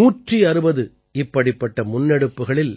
உலகத்தின் 160 இப்படிப்பட்ட முன்னெடுப்புக்களில்